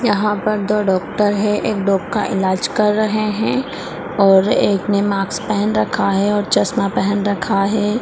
यहाँ पर दो डॉक्टर है एक डॉग का इलाज कर रहे है और एक ने मास्क पेहेन रखा है और चस्मा पेहेन रखा है।